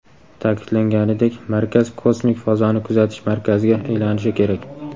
Ta’kidlanganidek, markaz "kosmik fazoni kuzatish markaziga" aylanishi kerak.